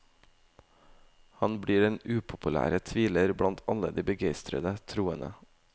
Han blir den upopulære tviler blant alle de begeistrede troende.